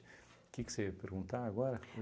Que que você ia perguntar agora?